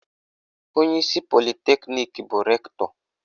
Onyeisi politeknik bụ Rektọ